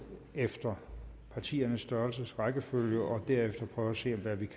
efter partiernes størrelses rækkefølge og derefter prøver at se hvad vi